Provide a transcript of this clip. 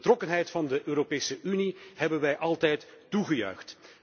En de betrokkenheid van de Europese Unie hebben wij altijd toegejuicht.